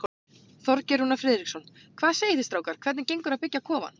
Þorgeir Rúnar Finnsson: Hvað segið þið strákar, hvernig gengur að byggja kofann?